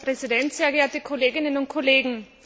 Herr Präsident, sehr geehrte Kolleginnen und Kollegen!